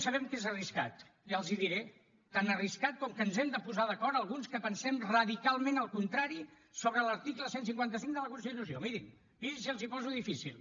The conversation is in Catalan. sabem que és arriscat ja els hi diré tan arriscat com que ens hem de posar d’acord alguns que pensem radicalment el contrari sobre l’article cent i cinquanta cinc de la constitució mirin mirin si els hi poso difícil